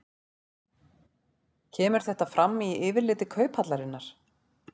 Kemur þetta fram í yfirliti Kauphallarinnar